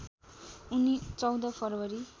उनी १४ फरवरी